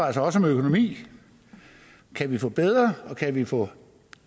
altså også om økonomi kan vi få bedre og kan vi få